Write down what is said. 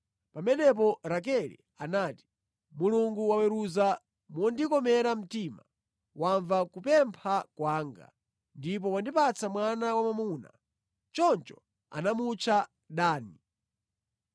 Pamenepo Rakele anati, “Mulungu waweruza mondikomera mtima, wamva kupempha kwanga ndipo wandipatsa mwana wa mwamuna.” Choncho anamutcha Dani.